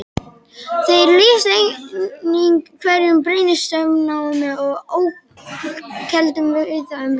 Þeir lýstu einnig hverum, brennisteinsnámum og ölkeldum víða um land.